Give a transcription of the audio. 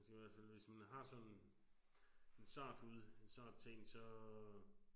Så kan man selvfølgelig hvis man har sådan en sart hud så ting så